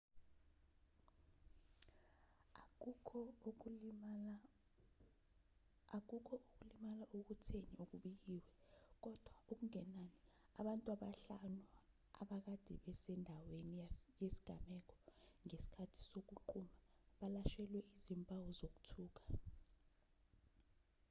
akukho ukulimala okutheni okubikiwe kodwa okungenani abantu abahlanu abakade bese ndaweni yesigameko ngesikhathi sokuqhuma balashelwe izimpawu zokuthuka